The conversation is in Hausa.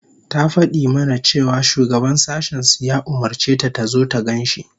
Ta fadi mana cewa shugaban sashen su ya umurce ta tazo ta gan shi